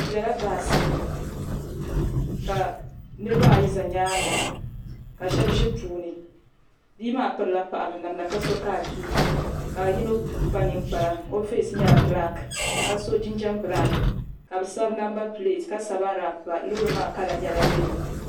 Bɛ bela baasi ni ka niriba ayi za nyaaŋga ka shɛba ʒi puuni. Bia maa pirila paɣiba namda ka so kaakii ka yino kpa niŋkpara ka o feesi nyɛ bilaaki ka so jinjam bilaaki ka bɛ sabi namba pileeti ka sabi arabi pa. Loori maa kala nyɛla yɛlo.